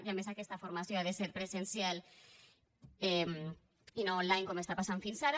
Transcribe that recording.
i a més aquesta formació ha de ser presencial i no online com està passant fins ara